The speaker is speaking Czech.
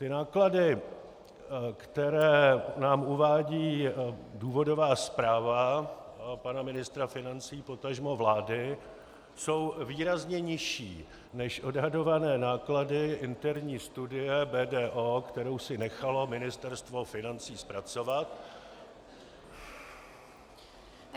Ty náklady, které nám uvádí důvodová zpráva pana ministra financí, potažmo vlády, jsou výrazně nižší než odhadované náklady interní studie BDO, kterou si nechalo Ministerstvo financí zpracovat...